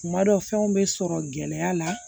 Kuma dɔ fɛnw be sɔrɔ gɛlɛya la